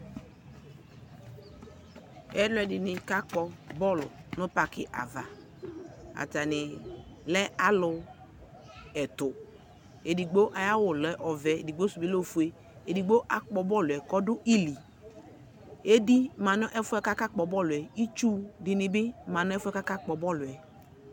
Ɛlʋɛdɩnɩ kakpɔ bɔl nʋ pakɩ ava, atanɩ lɛ alʋ ɛtʋ Edigbo ayawʋ lɛ ɔvɛ, edigbo sʋ bɩ lɛ ofue Edigbo akpɔ bɔlʋɛ k'ɔdʋ ili Edi ma n'ɛfʋɛ k'akakpɔ bɔlʋɛ , itsu dɩnɩ bɩ ma n'ɛfʋɛ k' akakpɔ bɔlʋɛ